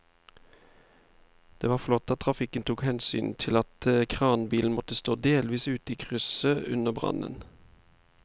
Det var flott at trafikken tok hensyn til at kranbilen måtte stå delvis ute i krysset under brannen.